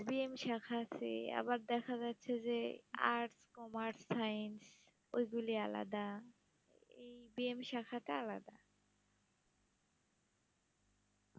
B. M শাখা আছে, আবার দেখা যাচ্ছে যে Arts, Commerce, Science ওইগুলি আলাদা, এই B. M শাখাটা আলাদা।